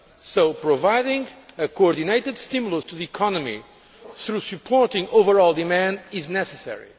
So providing a coordinated stimulus to the economy through supporting overall demand is necessary.